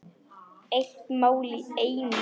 Eitt mál í einu.